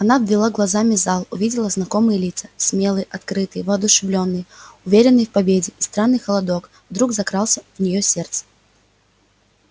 она обвела глазами зал увидела знакомые лица смелые открытые воодушевлённые уверенные в победе и странный холодок вдруг закрался в неё сердце